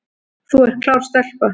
Þú ert klár stelpa